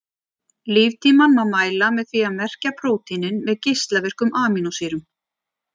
líftímann má mæla með því að merkja prótínin með geislavirkum amínósýrum